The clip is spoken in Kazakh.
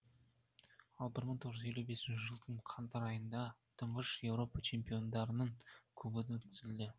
ал бір мың тоғыз жүз елу бесінші жылдың қаңтар айында тұңғыш еуропа чемпиондарының кубогы өткізілді